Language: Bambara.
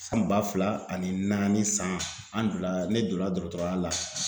San ba fila ani naani san an donna ne donna dɔgɔtɔrɔya la